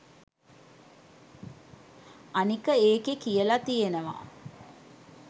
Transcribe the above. අනික ඒකෙ කියල තියෙනව